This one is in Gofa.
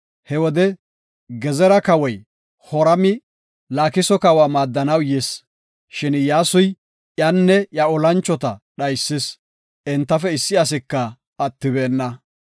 He wode, Gezera kawoy Horami, Laakiso kawa maaddanaw yis, shin Iyyasuy iyanne iya olanchota dhaysis; entafe issi asika attibeenna.